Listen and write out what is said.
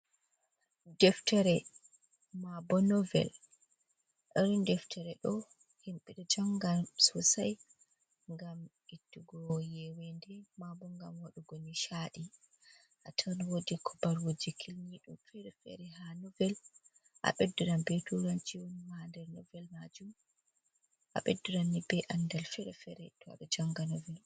Deftere mabo novel, Irin deftere do hembida janga sosai gam ettugo yewende mabo gam wadugo nishadi. A tan wodi kubarwuje kilnido fere-fere ha novel a bedduran be turanci woni ha der novel majum a beddirani be andal fere-fere to abe janga novel.